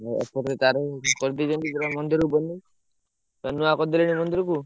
ଏପଟରେ ତାର କରିଦେଇଛନ୍ତି ପୁରା ମନ୍ଦିର ବନେଇ ନୂଆ କରିଦେଲେଣି ମନ୍ଦିରକୁ।